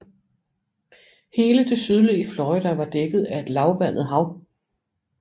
Hele det sydlige Florida var dækket af et lavvandet hav